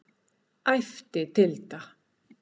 æpti Tilda.